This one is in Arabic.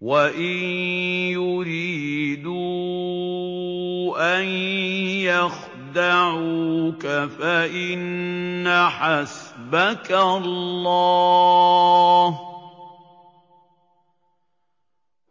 وَإِن يُرِيدُوا أَن يَخْدَعُوكَ فَإِنَّ حَسْبَكَ اللَّهُ ۚ